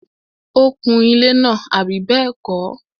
ó kun ilẹ́ náà, àbí bẹ́ẹ̀kọ́?